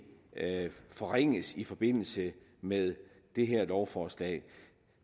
forringes i forbindelse med det her lovforslag